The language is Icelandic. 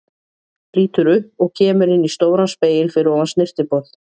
Lítur upp og kemur inn í stóran spegil fyrir ofan snyrtiborð.